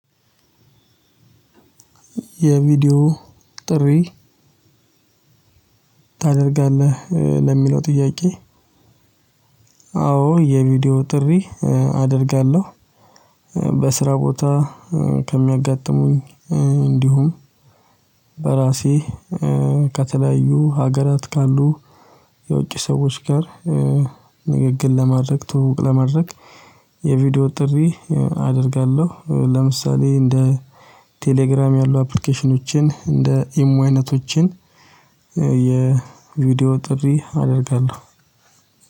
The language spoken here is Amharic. "የቪዲዮ ጥሪ ታደርጋለህ?" ለሚለው ጥያቄ አዎ የቪዲዮ ጥሪ አደርጋለሁ። በስራ ቦታ ከሚያጋጥሙኝ እንዲሁም በራሴ ከተለያዩ ሀገራት ካሉ የውጭ ሰዎች ጋር ንግግር ለማድረግ ትውውቅ ለማድረግ የቪዲዮ ጥሪ አደርጋለሁ። ለምሳሌ እንደ ቴሌግራም ያሉ አፕሊኬሽኖችን እንደ ኢሞ አይነቶችን የቪዲዮ ጥሪ አደርጋለሁ።